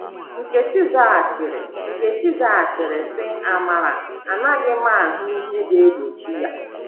Nkechi zaghachiri Nkechi zaghachiri, sị, “ Amara, anaghị m ahụ ihe ga-egbochi ya. ”